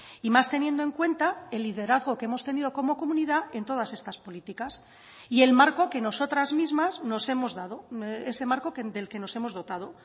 y más teniendo en cuenta el liderazgo que hemos tenido como comunidad en todas estas políticas y el marco que nosotras mismas nos hemos dado ese marco del que nos hemos dotado